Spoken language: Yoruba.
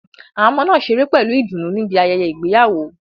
Àwọn ọmọ náà ṣeré pẹ̀lú ìdùnnú níbi ayẹyẹ ìgbéyàwó.